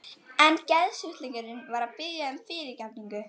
En geðsjúklingurinn var að biðja um fyrirgefningu.